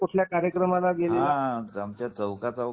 कुठल्या कार्यक्रमात गेलेला